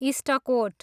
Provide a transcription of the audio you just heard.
इष्टकोट